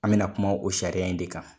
An bɛ na kuma o sariya in de kan.